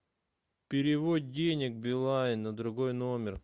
перевод денег билайн на другой номер